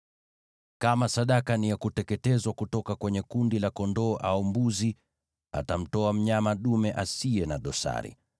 “ ‘Kama sadaka ni ya kuteketezwa kutoka kwenye kundi la kondoo au mbuzi, atamtoa mnyama dume asiye na dosari.